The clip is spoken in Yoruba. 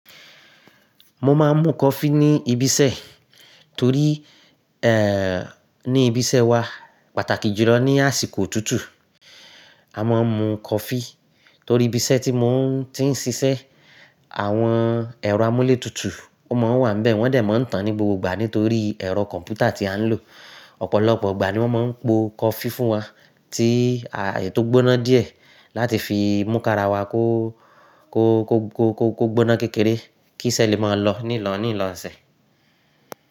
Mo máa ń mu coffee ní ibi iṣẹ́ torí, eeh, ní ibi iṣẹ́ wa pàtàkì jùlọ ní àsìkò otútù a máa ń mu coffee torí ibi iṣẹ́ tí mò ń ti ń ṣiṣẹ́ àwọn ẹ̀rọ amúlé tutù ó máa ń wà níbẹ̀ wọ́n dẹ̀ máa ń tàn ní gbogbo ìgbà nítorí ẹ̀rọ kọ̀m̀pútà tí à ń lò. Ọ̀pọ̀lọpọ̀ ìgbà ni wọ́n máa ń po coffee fún wa tí a eyii tó gbóná díẹ̀ láti fi mú kara wa kó, kó, kó, kó, kó, kó gbóná kékeré kí iṣẹ́ lè máa lọ ní ìlọ̀ní ìlọ̀ní lọ iṣẹ́.